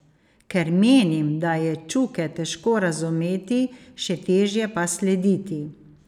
Ker menim, da je Čuke težko razumeti, še težje pa slediti.